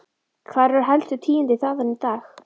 Hver eru helstu tíðindi þaðan í dag?